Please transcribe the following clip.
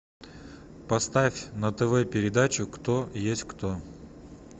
поставь на тв передачу кто есть кто